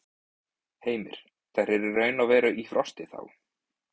Heimir: Þær eru raun og veru í frosti, þá?